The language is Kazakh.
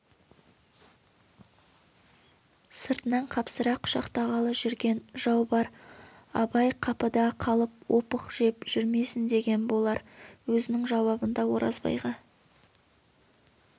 сыртынан қапсыра құшақтағалы жүрген жау бар абай қапыда қалып опық жеп жүрмесін деген болар өзінің жауабында оразбайға